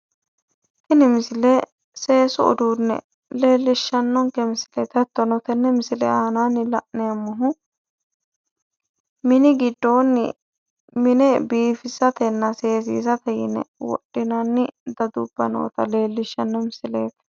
Tini misile seesu uduunne leellishshanonke misileeti hattono tenne misile aanaanni la'neemmohu mini giddoonni mine biifisatenna seesiisate yine wodhinanni dadubba noota leellishshanno misileeti.